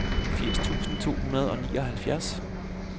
firs tusind to hundrede og nioghalvfjerds